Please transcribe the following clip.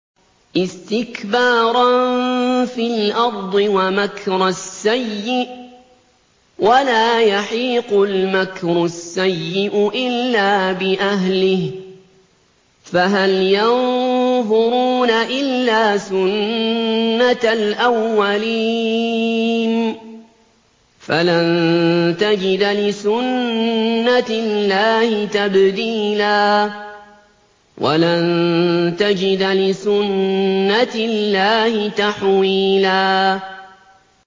اسْتِكْبَارًا فِي الْأَرْضِ وَمَكْرَ السَّيِّئِ ۚ وَلَا يَحِيقُ الْمَكْرُ السَّيِّئُ إِلَّا بِأَهْلِهِ ۚ فَهَلْ يَنظُرُونَ إِلَّا سُنَّتَ الْأَوَّلِينَ ۚ فَلَن تَجِدَ لِسُنَّتِ اللَّهِ تَبْدِيلًا ۖ وَلَن تَجِدَ لِسُنَّتِ اللَّهِ تَحْوِيلًا